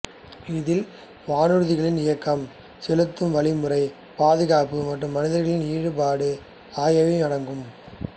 இதில் வானூர்திகளின் இயக்கம் செலுத்தும் வழிமுறை பாதுகாப்பு மற்றும் மனிதர்களின் ஈடுபாடு ஆகியவையும் அடங்கும்